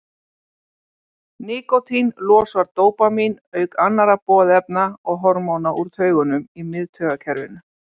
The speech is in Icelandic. nikótín losar dópamín auk annarra boðefna og hormóna úr taugungum í miðtaugakerfinu